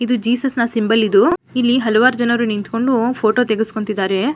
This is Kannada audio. ಇದು ಜೀಸಸ್ನ ಸಿಂಬಲ್ ಇದು ಇಲ್ಲಿ ಹಲವಾರು ಜನರು ನಿಥಿಕೊಂಡು ಫೋಟೋ ತೆಗುಸ್ಕೊತಿದಾರೆ.